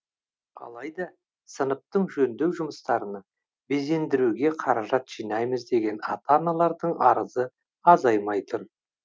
алайда сыныптың жөндеу жұмыстарына безендіруге қаражат жинаймыз деген ата аналардың арызы азаймай тұр